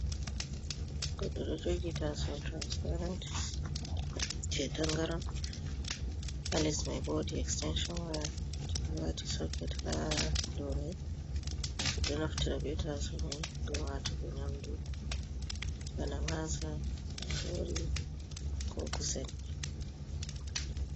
Goɗɗo ɗo jogi taso transparen je tangaran halis mai bo wodi extension waya kibibati soket ha domai ɓe ɗo naftira bemai ngam nymdu bada masa marori ko kusan.